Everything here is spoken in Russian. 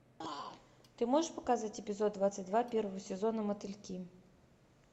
ты можешь показать эпизод двадцать два первого сезона мотыльки